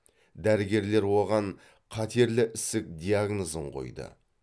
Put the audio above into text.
дәрігерлер оған қатерлі ісік диагнозын қойды